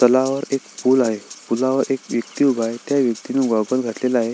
तलावावर एक पूल आहे पुलावर एक व्यक्ती उभा आहे त्या व्यक्तीने ग्वागल घातलेल आहे.